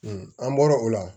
an bɔra o la